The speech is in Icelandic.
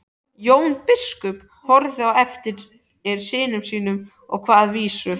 Jón biskup horfði á eftir syni sínum og kvað vísu